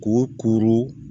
K'o kuru